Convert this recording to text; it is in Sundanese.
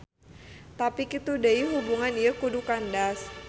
Tapi kitu deui hubungan ieu kudu kandas.